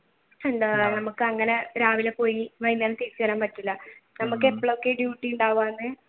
നമുക്ക് അങ്ങനെ രാവിലെ പോയി വൈകുന്നേരം തിരിച്ചു വരാൻ പറ്റൂല നമ്മുക്ക് എപ്പളോക്കെ duty